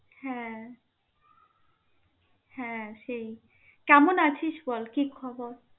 হ্যা. হ্যা সেই. কেমন আছিস বল, কি খবর?